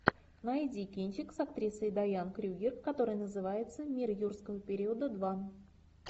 найди кинчик с актрисой дайан крюгер который называется мир юрского периода два